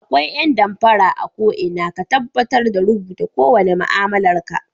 Akwai ƴan damfara a ko'ina ka tabbatar da rubuta kowane ma'amalar ka